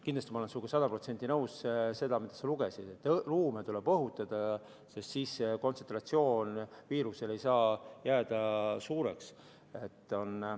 Kindlasti olen ma sinuga sada protsenti nõus selles, mida sa ette lugesid, et ruume tuleb õhutada, sest siis ei saa viiruse kontsentratsioon jääda suureks.